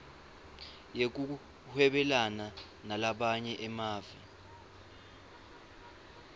yekuhwebelana nalamanye emave